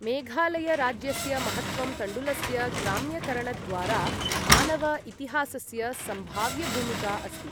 मेघालय राज्यस्य महत्त्वं तण्डुलस्य ग्राम्यकरणद्वारा मानव इतिहासस्य सम्भाव्यभूमिका अस्ति।